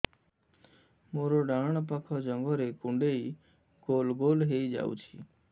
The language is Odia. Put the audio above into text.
ମୋର ଡାହାଣ ପାଖ ଜଙ୍ଘରେ କୁଣ୍ଡେଇ ଗୋଲ ଗୋଲ ହେଇଯାଉଛି